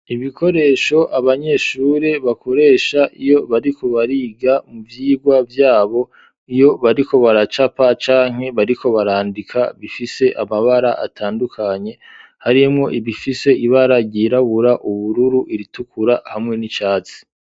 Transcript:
Ibikoresho abanyeshuri bakoresha iyo bariko bariga mu vyigwa vyabo ,iyo bariko baracapa canke bariko barandika ,bifise amabara atandukanye harimwo ibifise ibara ryirabura ,ubururu, iritukura hamwe n'icatsi.